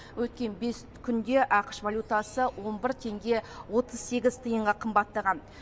өткен бес күнде ақш валютасы он бір теңге отыз сегіз тиынға қымбаттаған